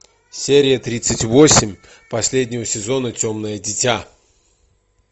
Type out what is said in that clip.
серия тридцать восемь последнего сезона темное дитя